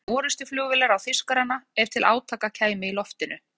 Það dugði ekkert annað en orrustuflugvélar á Þýskarana ef til átaka kæmi í loftinu.